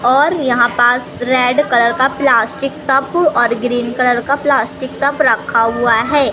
और यहां पास रेड कलर का प्लास्टिक टब और ग्रीन कलर का प्लास्टिक टब रखा हुआ है।